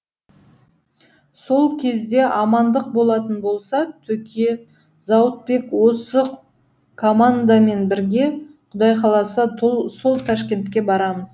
сол кезде амандық болатын болса төке зауытбек осы командамен бірге құдай қаласа сол ташкентке барамыз